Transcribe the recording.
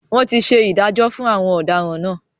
Wọn tí ṣe ìdájọ́ fún àwọn ọ̀daràn náà.